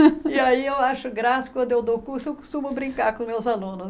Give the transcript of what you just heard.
E aí eu acho graça quando eu dou curso, eu costumo brincar com meus alunos.